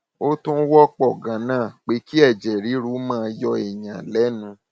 ó tún wọpọ ganan pé kí ẹjẹ ríru máa yọ èèyàn lẹnu